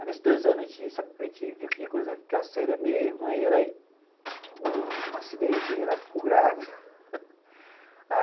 Aí, nesses dois anos, a gente viu que a coisa ia ficar séria mesmo, aí era um acidente e ela ficou grávida